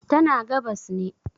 tana gabas ne